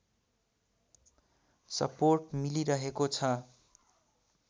support मिलिरहेको छ